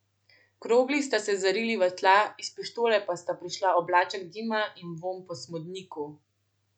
Krogli sta se zarili v tla, iz pištole pa sta prišla oblaček dima in vonj po smodniku.